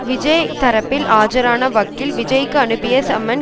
விஜய் தரப்பில் ஆஜரான வக்கீல் விஜய்க்கு அனுப்பிய சம்மன்